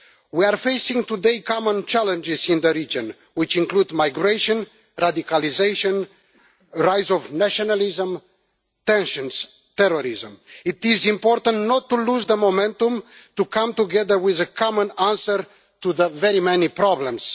Today we are facing common challenges in the region which include migration, radicalisation, the rise of nationalism, tensions and terrorism. It is important not to lose momentum and come together with a common answer to the very many problems.